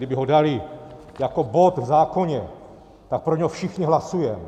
Kdyby ho dali jako bod v zákoně, tak pro něj všichni hlasujeme.